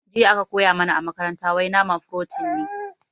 Jiya aka koya mana a makaranta wai nama furotin ne